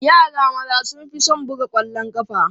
Yaran maza sun fi son buga ƙwallon ƙafa.